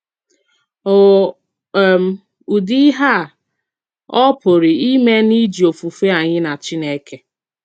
Ò um ùdí íhè a ọ pùrù ímè n’íjì òfùfè ányì nà Chínèkè?